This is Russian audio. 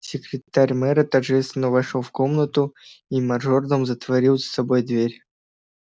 секретарь мэра торжественно вошёл в комнату и мажордом затворил за собой дверь